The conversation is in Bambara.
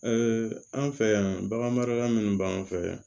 an fɛ yan bagan marala minnu b'an fɛ yan